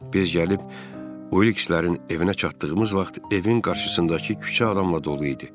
Biz gəlib Uilkslərin evinə çatdığımız vaxt evin qarşısındakı küçə adamla dolu idi.